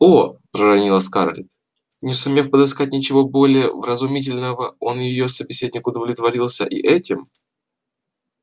о проронила скарлетт не сумев подыскать ничего более вразумительного он её собеседник удовлетворился и этим